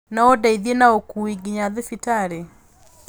na ũndeithie na ũkuui nginya thibitarĩ